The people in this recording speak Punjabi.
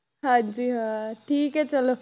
ਹਾਂਜੀ ਹਾਂ ਠੀਕ ਹੈ ਚਲੋ।